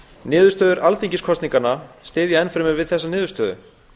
niðurstöður alþingiskosninganna styðja enn fremur við þessa niðurstöðu